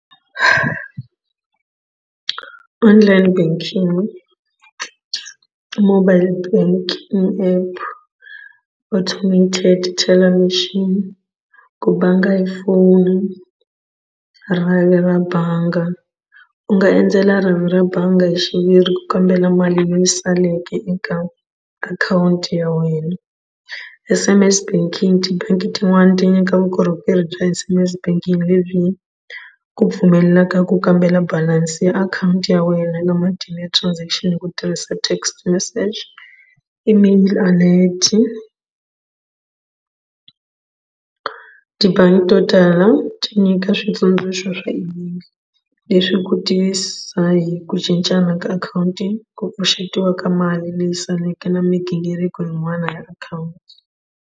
Online banking mobile banking app automated teller machine ku bangi hi foni rhavi ra bangi u nga endzela rhavi ra bangi hi xiviri ku kombela mali leyi saleke eka akhawunti ya wena. S_M_S banking tibangi tin'wani ti nyika vukorhokeri bya S_M_S banking lebyi ku pfumelelaka ku kambela balansi ya akhawunti ya wena na matimu ya transaction hi ku tirhisa text message email alert. Tibangi to tala ti nyika switsundzuxo swa leswi ku tisa hi ku cincana ka akhawunti ku pfuxetiwa ka mali leyi saleke na migingiriko yin'wana ya akhawunti.